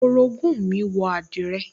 Orogún mi wọ àdìrẹ